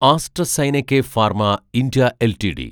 AstraZeneca pharma India LTD